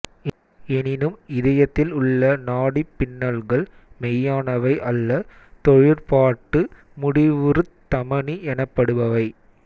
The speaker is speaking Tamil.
எனினும் இதயத்தில் உள்ள நாடிப் பின்னல்கள் மெய்யானவை அல்ல தொழிற்பாட்டு முடிவுறுத் தமனி எனப்படுபவை